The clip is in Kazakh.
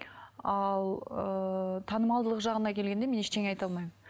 ал ыыы танымалдылық жағына келгенде мен ештеңе айта алмаймын